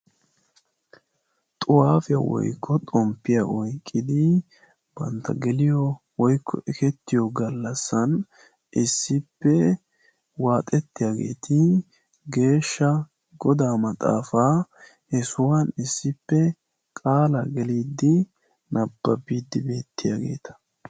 Xuwaafiya woykko xomppiya oykkidi bantta geliyo woykko ekettiyo gallassan issippe waaxettiyageeti geeshsha godaa maxaafaa he sohuwan issippe qaalaa geliiddi nabbabiiddi beettiyageeta.